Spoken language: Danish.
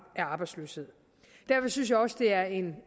af arbejdsløshed derfor synes jeg også det er en